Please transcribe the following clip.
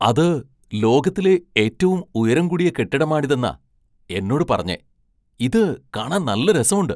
അത് ലോകത്തിലെ ഏറ്റവും ഉയരം കൂടിയ കെട്ടിടമാണിതെന്നാ എന്നോട് പറഞ്ഞെ. ഇത് കാണാൻ നല്ല രസമുണ്ട് !